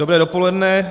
Dobré dopoledne.